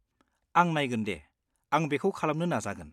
आं नायगोन दे, आं बेखौ खालामनो नाजागोन।